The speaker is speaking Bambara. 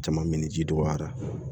Jama min ji dɔgɔyara